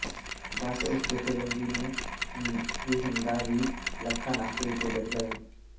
ਬਸ ਉਸ ਜਥੇਬੰਦੀ ਨੂੰ ਹੀ ਹੁੰਦਾ ਵੀ ਲੱਖਾ ਨਾ ਸਟੇਜ ਤੇ ਚੜ੍ਹ ਜਾਵੇ